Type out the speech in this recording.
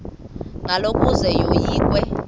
ngalo ukuze yoyikwe